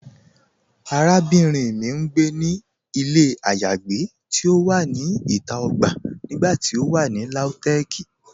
Àràbìnrin mì n gbé ní ilẹ̀ ayéagbé ti o wà ní ìtà ogbà nígbàtí o wà ní Lautech.